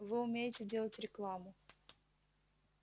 вы умеете делать рекламу